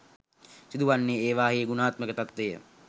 සිදුවන්නේ ඒවායෙහි ගුණාත්මක තත්වය